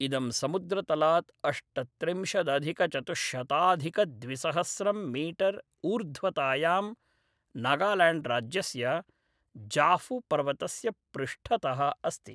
इदं समुद्रतलात् अष्टत्रिंशदधिकचतुश्शताधिकद्विसहस्रं मीटर् ऊर्ध्वतायां नागाल्याण्ड्राज्यस्य ज़ाफ़ुपर्वतस्य पृष्ठतः अस्ति।